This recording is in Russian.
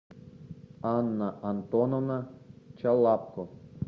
анна антоновна чалапко